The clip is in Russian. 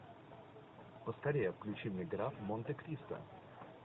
поскорее включи мне граф монте кристо